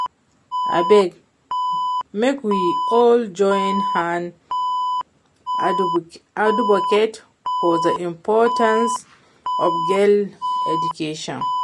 Abeg make we all join hand advocate for the importance of girl education